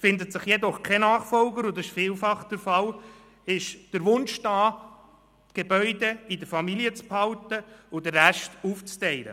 Findet sich – wie oft der Fall – kein Nachfolger, ist der Wunsch da, die Gebäude in der Familie zu behalten und den Rest aufzuteilen.